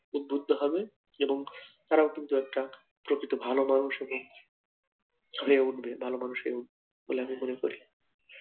উদ্বুদ্ধ হবে যেরম তারাও কিন্তু একটা প্রকৃত ভালো মানুষ এবং হয়ে উঠবে, ভালো মানুষ হয়ে উঠবে বলে আমি মনে করি